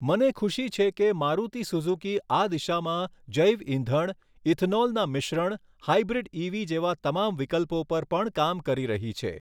મને ખુશી છે કે, મારુતિ સુઝુકી આ દિશામાં જૈવ ઇંધણ, ઇથનોલના મિશ્રણ, હાઇબ્રિડ ઇવી જેવા તમામ વિકલ્પો પર પણ કામ કરી રહી છે.